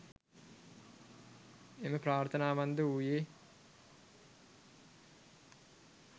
එම ප්‍රාර්ථනාවන්ද වූයේ